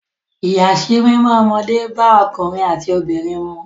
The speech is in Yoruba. Ìyàsímímọ́ ọmọdé bá ọkùnrin àti obìnrin mu.